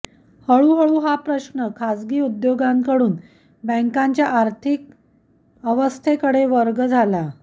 हळूहळू हा प्रश्न खाजगी उद्योगांकडून बँकांच्या आर्थिक अस्थैर्याकडे वर्ग झाला